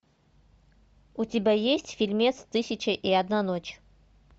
у тебя есть фильмец тысяча и одна ночь